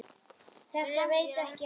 Þetta veit ekki á gott.